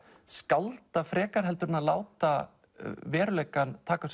skálda frekar en að láta veruleikann taka